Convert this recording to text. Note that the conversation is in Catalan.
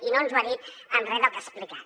i no ens ho ha dit amb re del que ha explicat